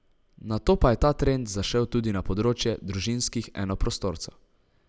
Nato pa je ta trend zašel tudi na področje družinskih enoprostorcev.